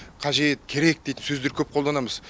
қажет керек дейтін сөздер көп қолданамыз